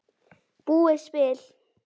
búið spil.